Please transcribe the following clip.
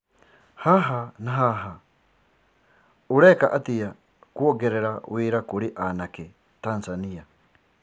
Haha na Haba:Uraiika atia kuongerira wira kurĩ aanake Tanzania?